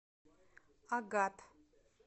агат